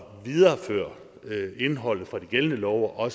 videreføre indholdet fra de gældende love og